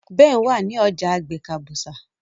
Ben wá ní ọjà àgbè kabusa